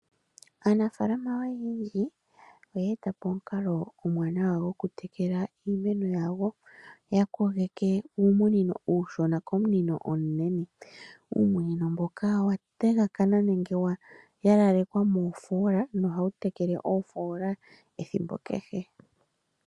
Aanafalama oyendji oye etapo omukalo omuwanawa gwoku tekela iimeno yawo. Oya kogeke uumunino uushona komunino omunene, uumunino mbono owa takaana nenge wa langekwa moofola nohawu tekele iimeno ethimbo kehe.